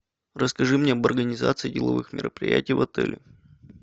расскажи мне об организации деловых мероприятий в отеле